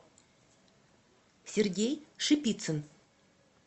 сергей шипицын